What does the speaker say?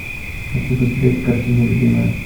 хочу посмотреть картину любимая